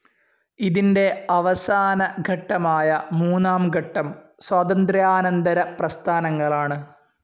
ഇതിന്റെ അവസാന ഘട്ടമായ മൂന്നാം ഘട്ടം സ്വാതന്ത്ര്യാനന്തര പ്രസ്ഥാനങ്ങളാണ്.